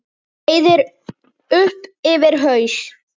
Breiði upp yfir haus.